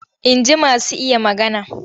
Inji masu iya magana.